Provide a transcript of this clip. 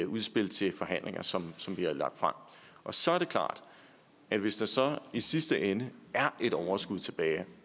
udspil til forhandlinger som som vi har lagt frem og så er det klart at hvis der så i sidste ende er et overskud tilbage